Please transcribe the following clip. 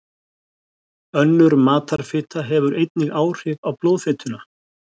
Önnur matarfita hefur einnig áhrif á blóðfituna.